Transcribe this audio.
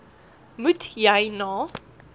moet jy na